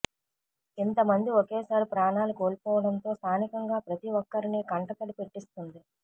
ఇంతమంది ఓకేసారి ప్రాణాలు కోల్పొవడంతో స్థానికంగా ప్రతి ఒక్కరిని కంటతడి పెట్టిస్తుంది